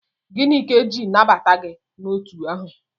Gịnị ka eji nabata gị n'otu ahụ?